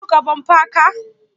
Kin tuƙa bumper car?